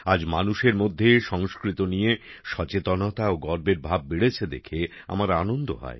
আজ মানুষের মধ্যে সংস্কৃত নিয়ে সচেতনতা ও গর্বের ভাব বেড়েছে দেখে আমার আনন্দ হয়